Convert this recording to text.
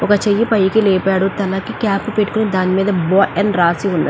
ఒక చెయ్యి పైకి లేపాడు. తలకి క్యాప్ పెట్టుకుని దాని మీద బాయ్ అని రాసి ఉన్నదీ.